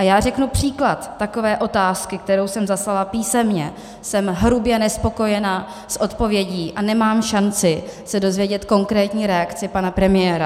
A já řeknu příklad takové otázky, kterou jsem dostala písemně, jsem hrubě nespokojená s odpovědí a nemám šanci se dozvědět konkrétní reakci pana premiéra.